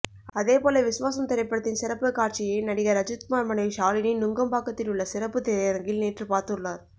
அதே போல விஸ்வாசம் திரைப்படத்தின் சிறப்புக்காட்சியை நடிகர் அஜித்குமார் மனைவி ஷாலினி நுங்கம்பாக்கத்தில் உள்ள சிறப்பு திரையரங்கில் நேற்று பார்த்துள்ளார்